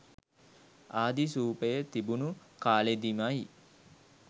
ආදි සූපය තිබුණු කාලෙදිමයි.